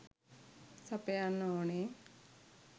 සපයන්න ඕනේ.